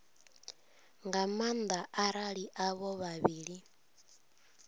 nga maanda arali avho vhavhili